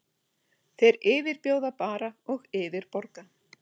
Þeir yfirbjóða bara og yfirborga.